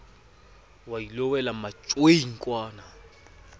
wa ilo wela matjoing kwana